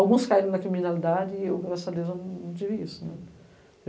Alguns caíram na criminalidade e eu, graças a Deus, não tive isso.